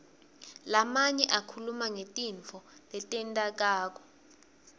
lamanye akhuluma ngetintfo letentekako